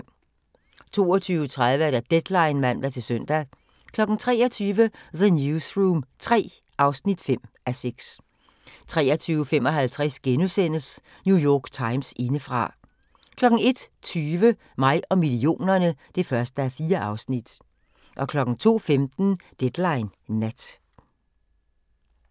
22:30: Deadline (man-søn) 23:00: The Newsroom III (5:6) 23:55: New York Times indefra * 01:20: Mig og millionerne (1:4) 02:15: Deadline Nat